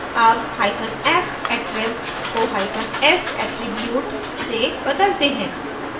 अब hyphen f attrib को hyphen s attribute से बदलते हैं